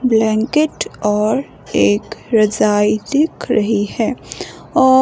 blanket और एक रजाई दिख रही है और--